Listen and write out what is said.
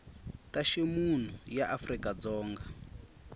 ta ximunhu ya afrika dzonga